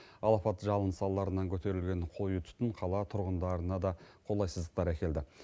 алапат жалын салдарынан көтерілген қою түтін қала тұрғындарына да қолайсыздықтар әкелді